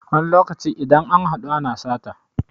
wani lokaci idan an haɗu ana sata